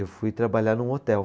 Eu fui trabalhar num hotel.